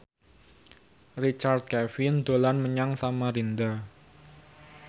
Richard Kevin dolan menyang Samarinda